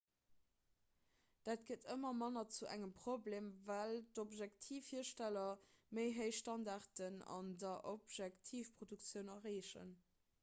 dat gëtt ëmmer manner zu engem problem well objektivhiersteller méi héich standarden an der objektivproduktioun erreechen